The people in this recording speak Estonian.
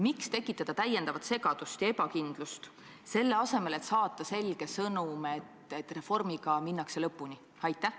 Miks tekitada täiendavat segadust ja ebakindlust, selle asemel et saata selge sõnum, et reformiga minnakse lõpuni?